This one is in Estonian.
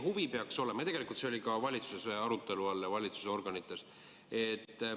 See oli ka valitsuse arutelu all ja valitsuse organites.